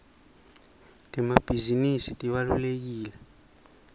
temabhisinisi tibalulekile